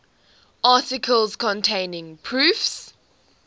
articles containing proofs